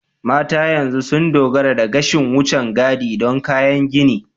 Mata yanzu sun dogara da gashin wucin gadi don kyan gani.